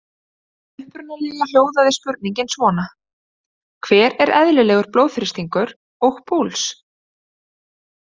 Upprunalega hljóðaði spurningin svona: Hver er eðlilegur blóðþrýstingur og púls?